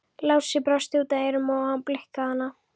Lási brosti út að eyrum og blikkaði hana.